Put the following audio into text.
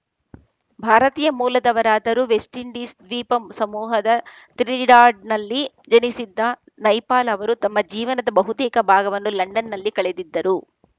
ಭಾರತೀಯ ಮೂಲದವರಾದರೂ West Indies ದ್ವೀಪ ಸಮೂಹದ ತ್ರಿನಿಡಾಡ್‌ನಲ್ಲಿ ಜನಿಸಿದ್ದ ನೈಪಾಲ್‌ ಅವರು ತಮ್ಮ ಜೀವನದ ಬಹುತೇಕ ಭಾಗವನ್ನು ಲಂಡನ್‌ನಲ್ಲಿ ಕಳೆದಿದ್ದರು